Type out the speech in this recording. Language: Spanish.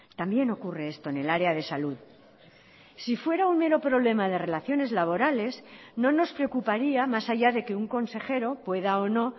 también ocurre esto en el área de salud si fuera un mero problema de relaciones laborales no nos preocuparía más allá de que un consejero pueda o no